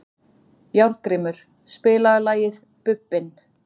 Járngrímur, spilaðu lagið „Bubbinn“.